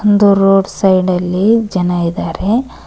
ಒಂದು ರೋಡ್ ಸೈಡಲ್ಲಿ ಜನ ಇದಾರೆ.